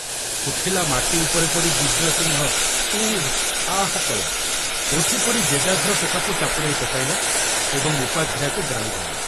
ଶୁଖିଲା ମାଟି ଉପରେ ପଡ଼ି ଦିବ୍ୟସିଂହ ଉଃ ଆଃ କଲା, ଉଠି ପଡ଼ି ଜେଗାଘର ଟୋକାକୁ ଚାପୁଡ଼ାଏ ପକାଇଲା ଏବଂ ଉପାଧ୍ୟାୟକୁ ଗାଳି ଦେଲା।